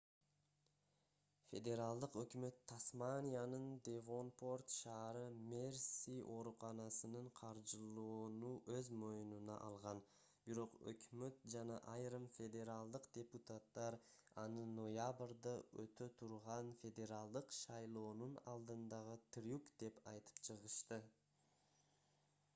федералдык өкмөт тасманиянын девонпорт ш мерси ооруканасын каржылоону өз мойнуна алган бирок өкмөт жана айрым федералдык депутаттар аны ноябрда өтө турган федералдык шайлоонун алдындагы трюк деп айтып чыгышты